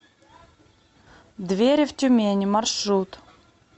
двери в тюмени маршрут